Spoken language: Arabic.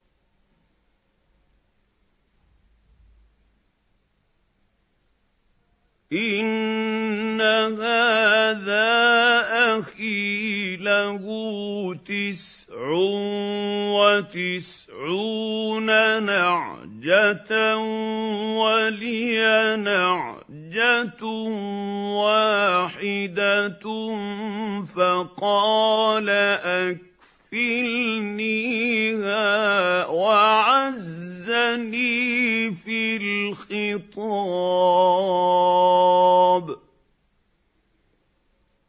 إِنَّ هَٰذَا أَخِي لَهُ تِسْعٌ وَتِسْعُونَ نَعْجَةً وَلِيَ نَعْجَةٌ وَاحِدَةٌ فَقَالَ أَكْفِلْنِيهَا وَعَزَّنِي فِي الْخِطَابِ